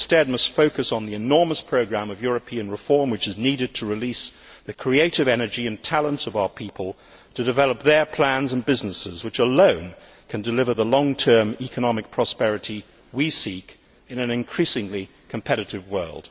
We must instead focus on the enormous programme of European reform which is needed to release the creative energy and talents of our people to develop their plans and businesses, which alone can deliver the long term economic prosperity we seek in an increasingly competitive world.